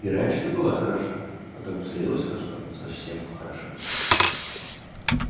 и раньше-то была хороша а как в зрелость вошла совсем похорошела